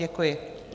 Děkuji.